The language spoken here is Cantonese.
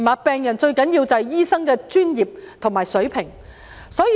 病人最需要的，是醫生的專業及水平。